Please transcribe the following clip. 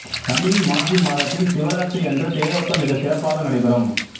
தமிழ் மாசி மாதத்தில் சிவராத்திரி அன்று தேரோட்டம் மிகச் சிறப்பாக நடைபெறும்